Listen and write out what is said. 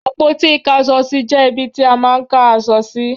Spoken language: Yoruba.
Àpótí Ìkáṣọsí jẹ́ ibi ti a máà ń ká aṣọ sí.